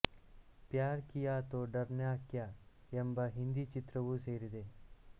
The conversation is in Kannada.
ಪ್ಯಾರ್ ಕಿಯಾ ತೊ ಡರ್ನಾ ಕ್ಯಾ ಯೆಂಬ ಹಿಂದಿ ಚಿತ್ರವೂ ಸೇರಿದೆ